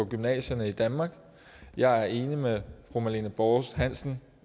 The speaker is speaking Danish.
gymnasierne i danmark jeg er enig med fru marlene borst hansen